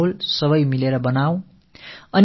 இத்தகைய ஒரு சூழலை நாம் ஏற்படுத்தலாம்